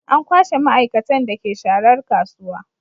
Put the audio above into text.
An kwashe maaikatan da ke sharar kasuwa